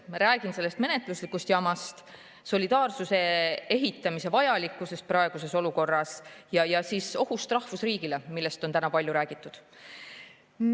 Ma räägin sellest menetluslikust jamast, solidaarsuse ehitamise vajalikkusest praeguses olukorras ja ohust rahvusriigile, millest on täna palju räägitud.